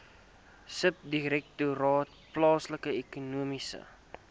subdirektoraat plaaslike ekonomiese